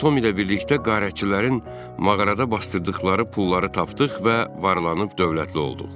Biz Tom ilə birlikdə qərəzçilərin mağarada basdırdıqları pulları tapdıq və varlanıb dövlətli olduq.